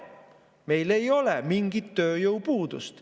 Meil ei ole mingit tööjõupuudust.